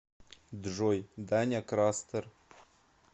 джой даня крастер